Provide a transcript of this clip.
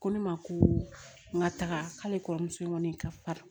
Ko ne ma ko n ka taga k'ale kɔrɔmuso in kɔni ka fa